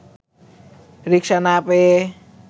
রিকশা না পেয়ে